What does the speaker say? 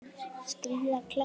Skríða kletta.